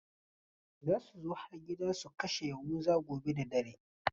Za su zo har gida su kashe Yahuza gobe da dare.